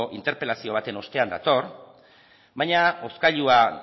interpelazio baten ostean dator baina hozkailua